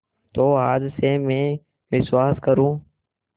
तो आज से मैं विश्वास करूँ